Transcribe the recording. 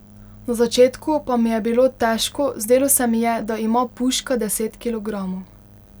Na začetku pa mi je bilo težko, zdelo se mi je, da ima puška deset kilogramov.